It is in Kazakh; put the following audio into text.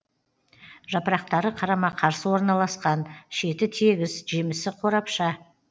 жапырақтары қарама қарсы орналасқан шеті тегіс жемісі қорапша